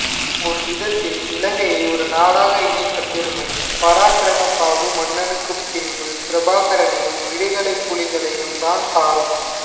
ஒரு விதத்தில் இலங்கையை ஒரு நாடாக இணைத்த பெருமை பராக்கிரமபாகு மன்னனுக்குப் பின்பு பிரபாகரனையும் விடுதலைப் புலிகளையும்தான் சாரும்